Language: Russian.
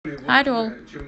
орел